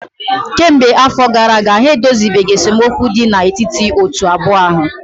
kemgbe afọ gara aga ha edozibeghị esemokwu dị n'etiti otu abụọ ahụ